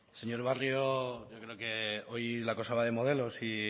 señor barrio yo creo que hoy la cosa va de modelos y